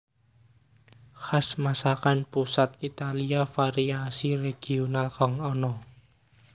Khas masakan pusat Italia variasi regional kang ana